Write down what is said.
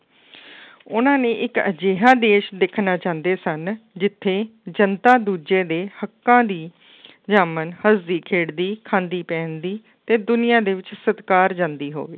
ਉਹਨਾਂ ਨੇ ਇੱਕ ਅਜਿਹਾ ਦੇਸ ਦੇਖਣਾ ਚਾਹੁੰਦੇ ਸਨ ਜਿੱਥੇ ਜਨਤਾ ਦੂਜੇ ਦੇ ਹੱਕਾਂ ਦੀ ਜਾਮਣ ਹੱਸਦੀ ਖੇਡਦੀ, ਖਾਂਦੀ, ਪਹਿਨਦੀ ਤੇ ਦੁਨੀਆਂ ਦੇ ਵਿੱਚ ਸਤਿਕਾਰ ਜਾਂਦੀ ਹੋਵੇ।